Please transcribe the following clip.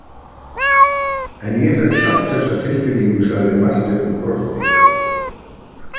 En ég fékk samt þessa tilfinningu, sagði Marteinn og brosti.